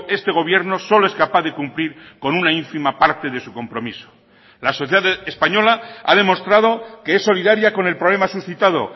este gobierno solo es capaz de cumplir con una ínfima parte de su compromiso la sociedad española ha demostrado que es solidaria con el problema suscitado